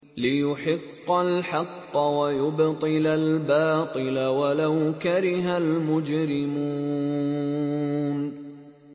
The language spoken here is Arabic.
لِيُحِقَّ الْحَقَّ وَيُبْطِلَ الْبَاطِلَ وَلَوْ كَرِهَ الْمُجْرِمُونَ